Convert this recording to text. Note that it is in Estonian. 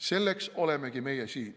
Selleks olemegi meie siin.